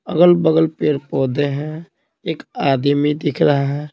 अगल-बगल पेड़-पौधे हैं एक आदमी दिख रहा है।